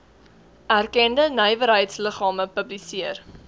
erkende nywerheidsliggame publiseer